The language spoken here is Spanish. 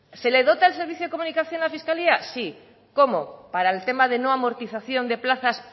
se le dota del servicio de comunicación a la fiscalía sí cómo para el tema de no amortización de plazas